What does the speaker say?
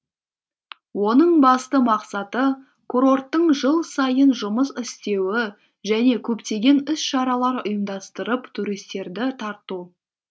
оның басты мақсаты курорттың жыл сайын жұмыс істеуі және көптеген іс шаралар ұйымдастырып туристерді тарту